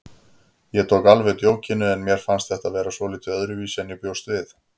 Ég tók alveg djókinu en mér fannst þetta vera svolítið öðruvísi en ég bjóst við.